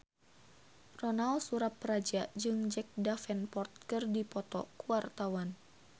Ronal Surapradja jeung Jack Davenport keur dipoto ku wartawan